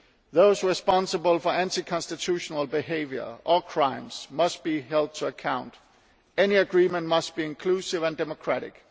Those responsible for anti constitutional behaviour or crimes must be held to account any agreement must be inclusive and democratic